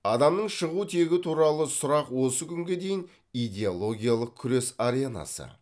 адамның шығу тегі туралы сұрақ осы күнге дейін идеологиялық күрес аренасы